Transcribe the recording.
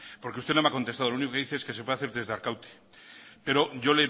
porque usted no me ha contestado lo único que dice es que se puede hacer desde arkaute pero yo